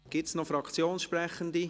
Gibt es noch Fraktionssprechende?